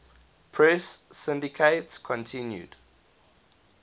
press syndicate continued